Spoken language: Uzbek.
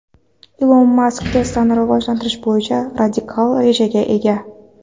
Ilon Mask Tesla’ni rivojlantirish bo‘yicha radikal rejaga ega.